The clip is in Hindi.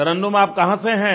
तरन्नुम आप कहाँ से हैं